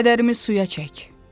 Kədərimi suya çək.